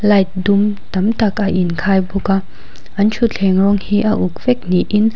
light dum tamtak a in khai bawka an thutthleng rawng hi a uk vek ni in.